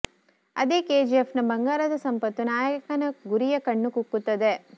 ಅದೇ ಕೆಜಿಎಫ್ ನ ಬಂಗಾರದ ಸಂಪತ್ತು ನಾಯಕನ ಗುರಿಯ ಕಣ್ಣು ಕುಕ್ಕುತ್ತದೆ